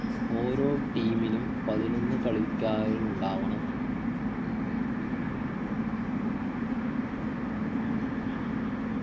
ഓരോ team ലും പതിനൊന്നു കളിക്കാരുണ്ടാവണ